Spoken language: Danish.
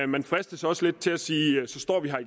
man fristes også lidt til at sige så står vi her